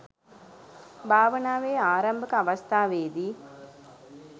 භාවනාවේ ආරම්භක අවස්ථාවේ දී